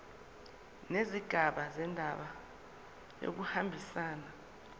nezigaba zendaba kuyahambisana